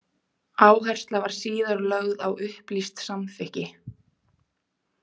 Áhersla var síðar lögð á upplýst samþykki.